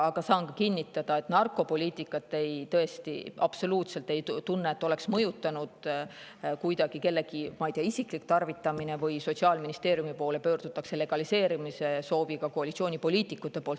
Aga saan kinnitada, et ma tõesti absoluutselt ei tunne, et narkopoliitikat on mõjutanud kuidagi kellegi isiklik tarvitamine või et koalitsioonipoliitikud oleksid Sotsiaalministeeriumi poole pöördunud legaliseerimise sooviga.